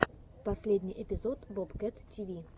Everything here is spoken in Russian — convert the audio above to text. последний эпизод бобкэт тиви